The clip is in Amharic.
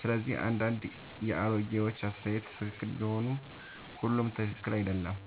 ስለዚህ አንዳንድ የአሮጌዎች አስተያየት ትክክል ቢሆንም ሁሉም ትክክል አይደለም።